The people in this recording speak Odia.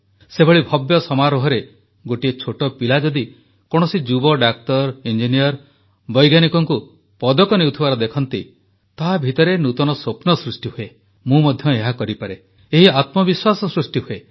ସେଭଳି ଭବ୍ୟ ସମାରୋହରେ ଗୋଟିଏ ଛୋଟ ପିଲା ଯଦି କୌଣସି ଯୁବ ଡାକ୍ତର ଇଞ୍ଜିନିୟର ବୈଜ୍ଞାନିକଙ୍କୁ ପଦକ ନେଉଥିବାର ଦେଖନ୍ତି ତା ଭିତରେ ନୂତନ ସ୍ୱପ୍ନ ସୃଷ୍ଟି ହୁଏ ମୁଁ ମଧ୍ୟ ଏହା କରିପାରେ ଏହି ଆତ୍ମବିଶ୍ୱାସ ସୃଷ୍ଟି ହୁଏ